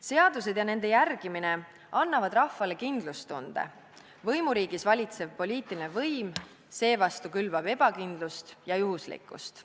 Seadused ja nende järgimine annavad rahvale kindlustunde, võimuriigis valitsev poliitiline võim seevastu külvab ebakindlust ja juhuslikkust.